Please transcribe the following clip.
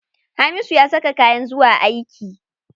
Hamisu ya saka kayan zuwa aiki.